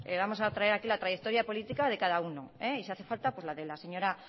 vamos a traer aquí la trayectoria política de cada uno y si hace falta la de la señora